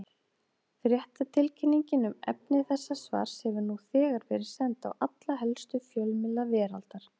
Fréttatilkynning um efni þessa svars hefur nú þegar verið send á alla helstu fjölmiðla veraldar.